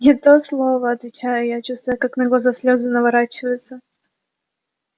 не то слово отвечаю я чувствуя как на глаза слезы наворачиваются